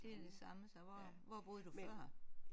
Det er det samme så hvor hvor boede du før?